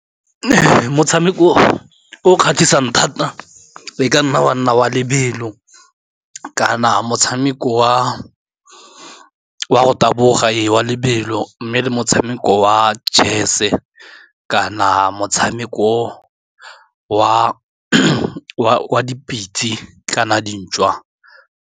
Motshameko o kgatlhisang thata e ka nna wa nna wa lebelo, kana motshameko wa go taboga e wa lebelo, mme le motshameko wa chese-e, kana motshameko wa dipitse, kana dintšhwa.